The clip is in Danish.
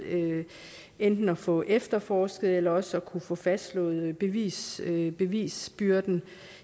enten at få efterforsket eller også at kunne få fastslået bevisbyrden bevisbyrden